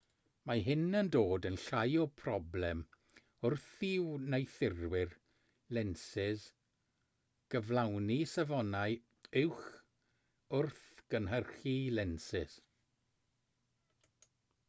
mae hyn yn dod yn llai o broblem wrth i wneuthurwyr lensys gyflawni safonau uwch wrth gynhyrchu lensys